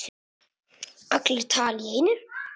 Allir tala í einu.